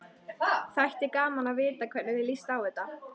Þætti gaman að vita hvernig þér líst á þetta?